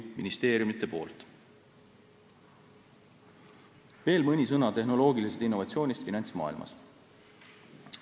Veel mõni sõna tehnoloogilisest innovatsioonist finantsmaailmas.